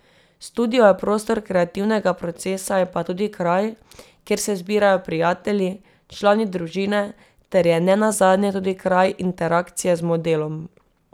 Studio je prostor kreativnega procesa, je pa tudi kraj, kjer se zbirajo prijatelji, člani družine ter je nenazadnje tudi kraj interakcije z modelom.